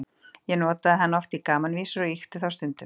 Ég notaði hann oft í gamanvísur og ýkti þá stundum.